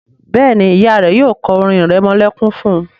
Béèni Ìyá rẹ yóò ko orin iremolekun fún.